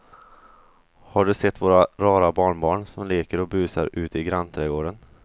Har du sett våra rara barnbarn som leker och busar ute i grannträdgården!